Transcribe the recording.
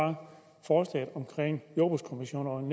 om jordbrugskommissionerne